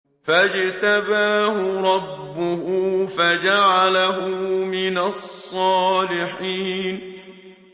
فَاجْتَبَاهُ رَبُّهُ فَجَعَلَهُ مِنَ الصَّالِحِينَ